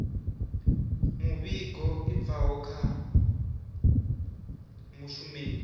muvhigo i bvaho kha mushumeli